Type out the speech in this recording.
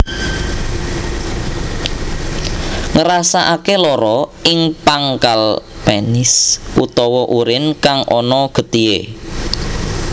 Ngrasake lara ing pangkal penis utawa urin kang ana getihe